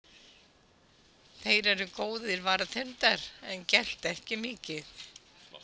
Þeir eru góðir varðhundar en gelta ekki mikið.